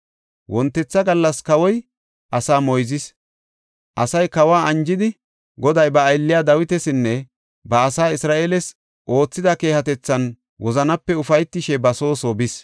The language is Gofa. Wontetha gallas kawoy asaa moyzis; asay kawa anjidi, Goday ba aylliya Dawitasinne ba asaa Isra7eeles oothida keehatethan wozanape ufaytishe ba soo ba soo bis.